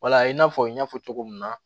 Wala i n'a fɔ n y'a fɔ cogo min na